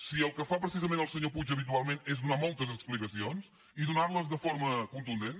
si el que fa precisament el senyor puig habitualment és donar moltes explicacions i donar les de forma contundent